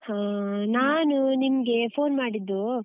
ಹಾ, ನಾನು ನಿಮ್ಗೆ phone ಮಾಡಿದ್ದು.